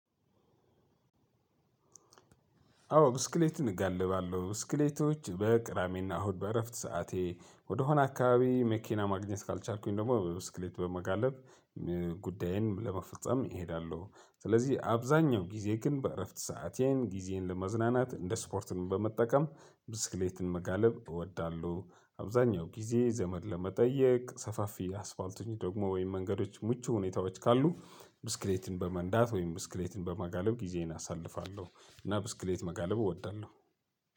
አዎ ብስክሌት እጋልባለሁ ብስክሌቶች በቅዳሜ ና እሁድ በእረፍት ሰዓቴ ወደሆነ አካባቢ መኪና ማግኘት ካልቻልኩኝ ደግሞ በብስክሌት በመጋለብ። ጉዳዬን ለመፈጸም እሄዳሉ ስለዚህ አብዛኛው ጊዜ ግን በእረፍት ሰአቴን ጊዜን ለመዝናናት እንደ ስፖርትም በመጠቀም ብስክሌትን መጋለብ እወዳለሁ። አብዛኛው ጊዜ ዘመድ ለመጠየቅ ሰፋፊ አስፋልቶች ደግሞ ወይም መንገዶች ምቹ ሁኔታዎች ካሉ ብስክሌትን በመንዳት ወይም ብስክሌትን በመጋለብ ጊዜየን አሳልፋለሁ። እና ብስክሌት መጋለብ እወዳለሁ።